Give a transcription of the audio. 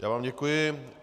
Já vám děkuji.